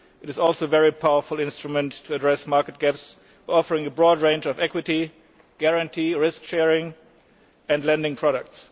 It is also a very powerful instrument for addressing market gaps, offering a broad range of equity, guarantee, risk sharing and lending products.